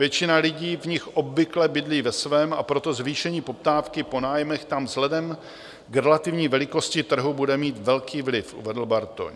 "Většina lidí v nich obvykle bydlí ve svém, a proto zvýšení poptávky po nájmech tam vzhledem k relativní velikosti trhu bude mít velký vliv," uvedl Bartoň.